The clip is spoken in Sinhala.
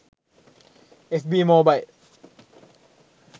fb mobile